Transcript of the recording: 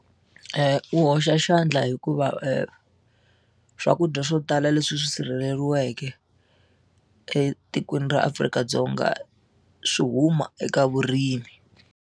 U hoxa xandla hikuva swakudya swo tala leswi swi sirheleriweke etikweni ra Afrika-Dzonga swi huma eka vurimi.